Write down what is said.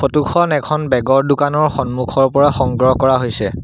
Photo খন এখন বেগ ৰ দোকানৰ সন্মুখৰ পৰা সংগ্ৰহ কৰা হৈছে।